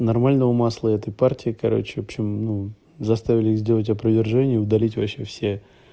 нормального масла этой партии короче общем ну заставили сделать опровержение и удалить вообще все